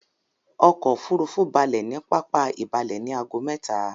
Ọkò òfurufú balẹ̀ ní pápá ìbalẹ ní ago mẹ́ta.